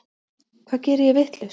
Hvað geri ég vitlaust?